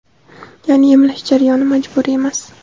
Ya’ni emlash jarayoni majburiy emas.